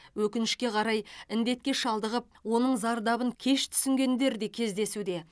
өкінішке қарай індетке шалдығып оның зардабын кеш түсінгендер де кездесуде